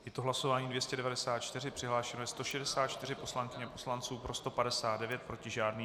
Je to hlasování 294, přihlášeno je 164 poslankyň a poslanců, pro 159, proti žádný.